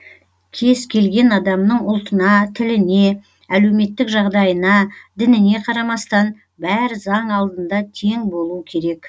кез келген адамның ұлтына тіліне әлеуметтік жағдайына дініне қарамастан бәрі заң алдында тең болуы керек